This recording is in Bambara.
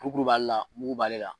Kurukurun b'ale la, mugu b'ale la